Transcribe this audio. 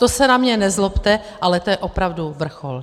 To se na mě nezlobte, ale to je opravdu vrchol.